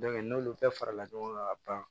n'olu bɛɛ farala ɲɔgɔn kan ka ban